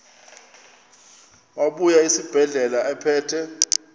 wabuya esibedlela ephethe